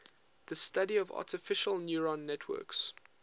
the study of artificial neural networks